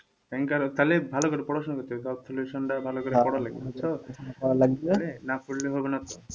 ব্যাংকার হলে তাহলে ভালো করে পড়াশোনা করতে হবে ভালো করে পড়া লাগবে বুঝছো, না পড়লে কখনো,